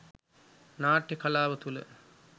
නාට්‍ය කලාව තුළ